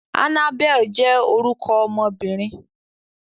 Annabel jẹ́ órukọ ọmọbirin